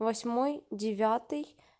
восьмой девятый